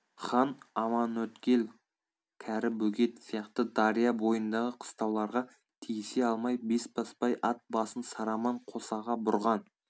хан аманөткел кәрібөгет сияқты дария бойындағы қыстауларға тиісе алмай бесбасбай ат басын сараман қосаға бұрған